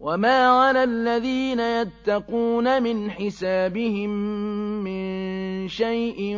وَمَا عَلَى الَّذِينَ يَتَّقُونَ مِنْ حِسَابِهِم مِّن شَيْءٍ